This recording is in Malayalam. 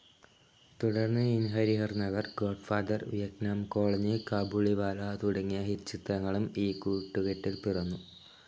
തുടർന്ന് in Harihar Nagar, godfather, Vietnam colony, കാബുളിവാല തുടങ്ങിയ ഹിറ്റ്‌ ചിത്രങ്ങളും ഈ കുട്ടുകെട്ടിൽ പിറന്നു.